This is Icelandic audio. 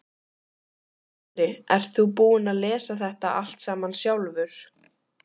Andri: Ert þú búinn að lesa þetta allt saman sjálfur?